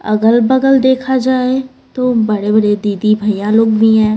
अगल पगल देखा जाए तो बड़े-बड़े दीदी भैया लोग भी हैं।